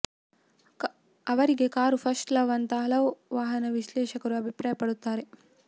ಅವರಿಗೆ car first love ಅಂತ ಹಲವು ವಾಹನ ವಿಶ್ಲೇಷಕರು ಅಭಿಪ್ರಾಯಪಡುತ್ತಾರೆ